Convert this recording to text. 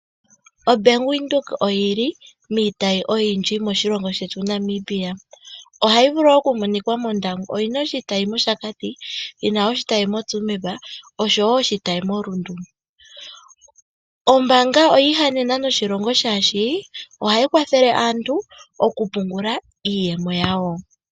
Bank Windhoek oyi na iitayi oyindji moshilongo shetu Namibia. Oyi na oshitayi mOshakati, moTsumeb noshowo oshitayi moRundu. Ombaanga oyi ihanena noshilongo, oshoka ohayi kwathele aantu okupungula iiyemo yawo.